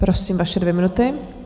Prosím, vaše dvě minuty.